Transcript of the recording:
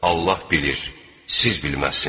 Allah bilir, siz bilməzsiniz.